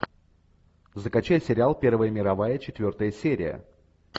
закачай сериал первая мировая четвертая серия